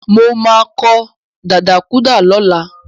Mo máa kọ dadakúàdà lọ́la.